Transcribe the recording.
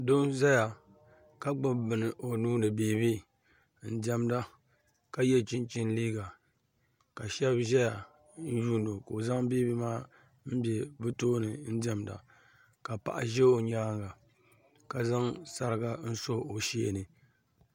Doo n-zaya ka gbubi bini o nuu ni beebi n-diɛmda ka ye chinchini liiga ka shɛba ʒeya n-yuuni o ka o zaŋ beebii maa m-be bɛ tooni n-diɛmda ka paɣa ʒe o nyaaŋa ka zaŋ sariga so o shee ni.